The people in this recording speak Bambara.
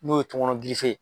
N'o ye tɔŋɔnɔn